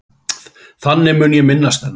Þannig mun ég minnast hennar.